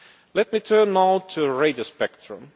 Let me turn now to radio spectrum.